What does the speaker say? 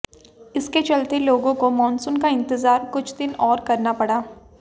इसके चलते लोगों को मॉनसून का इंतजार कुछ दिन और करना पड़ा